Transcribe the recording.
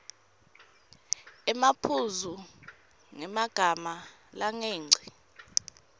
emaphuzu ngemagama langengci